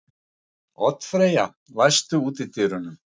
Oddfreyja, læstu útidyrunum.